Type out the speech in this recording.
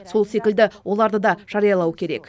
сол секілді оларды да жариялау керек